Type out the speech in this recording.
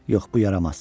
Yox, bu yaramaz.